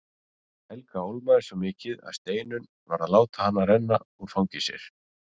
Helga ólmaðist svo mikið að Steinunn varð að láta hana renna úr fangi sér.